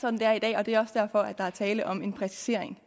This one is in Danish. sådan det er i dag og det er også derfor der er tale om en præcisering